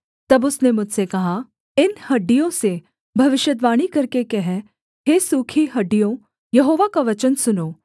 तब उसने मुझसे कहा इन हड्डियों से भविष्यद्वाणी करके कह हे सूखी हड्डियों यहोवा का वचन सुनो